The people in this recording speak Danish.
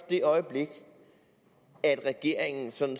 det øjeblik at regeringen sådan